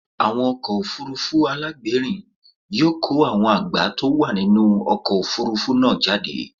Àwọn ọkọ̀ òfuurufú alágbèérìn yóò kó àwọn àgbá tó wà nínú ọkọ̀ òfuurufú náà jáde.